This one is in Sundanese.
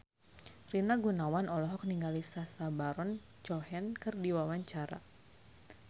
Rina Gunawan olohok ningali Sacha Baron Cohen keur diwawancara